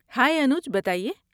ہائے انوج، بتا ئیے۔